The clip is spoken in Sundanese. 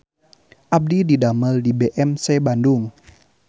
Abdi didamel di BMC Bandung